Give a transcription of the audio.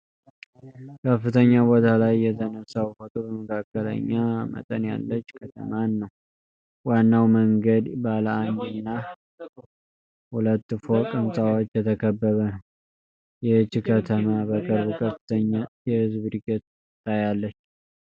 ከፍተኛ ቦታ ላይ የተነሳው ፎቶ በመካከለኛ መጠን ያለች ከተማን ነው። ዋናው መንገድ ባለ አንድ እና ሁለት ፎቅ ሕንፃዎች የተከበበ ነው። ይህች ከተማ በቅርቡ ከፍተኛ የህዝብ ዕድገት ታያለች?